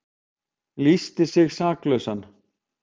Lýsti sig saklausan